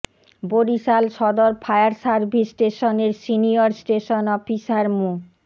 বরিশাল সদর fire service স্টেশনের senior station officer মো